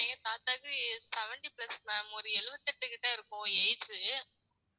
எங்க தாத்தாக்கு seventy plus ma'am ஒரு எழுபத்தெட்டு கிட்ட இருக்கும்